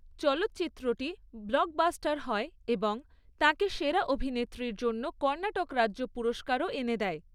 চলচ্চিত্রটি ব্লকবাস্টার হয় এবং তাঁকে সেরা অভিনেত্রীর জন্য কর্ণাটক রাজ্য পুরস্কারও এনে দেয়।